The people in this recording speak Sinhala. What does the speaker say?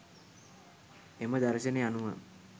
එම දර්ශනය අනුව